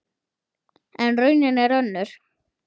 En raunin er önnur.